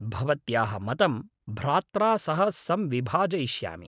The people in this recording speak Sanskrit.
भवत्याः मतं भ्रात्रा सह संविभाजयिष्यामि।